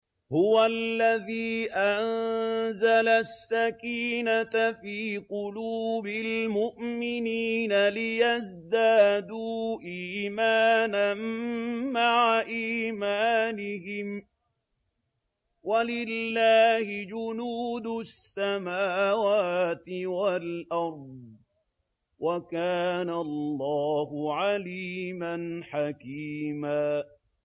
هُوَ الَّذِي أَنزَلَ السَّكِينَةَ فِي قُلُوبِ الْمُؤْمِنِينَ لِيَزْدَادُوا إِيمَانًا مَّعَ إِيمَانِهِمْ ۗ وَلِلَّهِ جُنُودُ السَّمَاوَاتِ وَالْأَرْضِ ۚ وَكَانَ اللَّهُ عَلِيمًا حَكِيمًا